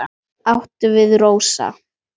Hvað áttu við, Rósa?